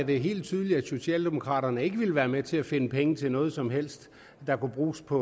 det helt tydeligt at socialdemokraterne ikke ville være med til at finde penge til noget som helst der kunne bruges på